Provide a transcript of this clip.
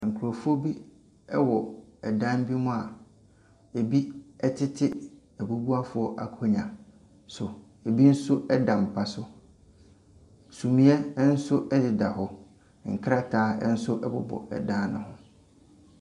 Nkorɔfoɔ bi ɛwɔ dan bi mu a ebi ɛtete abubuafoɔ akonnwa so. Ebi nso ɛda mpa so. Sumiɛ ɛnso ɛdeda hɔ . Nkrataa ɛnso ɛbobɔ dan ne ho.